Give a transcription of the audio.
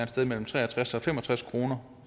sted mellem tre og tres og fem og tres kroner